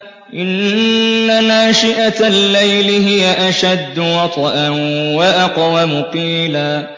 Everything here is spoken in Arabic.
إِنَّ نَاشِئَةَ اللَّيْلِ هِيَ أَشَدُّ وَطْئًا وَأَقْوَمُ قِيلًا